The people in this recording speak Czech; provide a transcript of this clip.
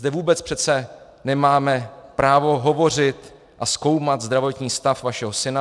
Zde vůbec přece nemáme právo hovořit a zkoumat zdravotní stav vašeho syna.